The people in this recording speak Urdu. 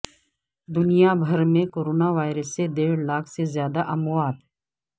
دنیا بھر میں کورونا وائرس سے دیڑھ لاکھ سے زیادہ اموات